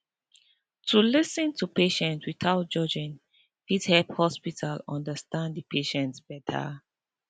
to lis ten to patient without judging fit help hospital understand de patient beta